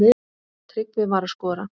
Tryggvi var að skora.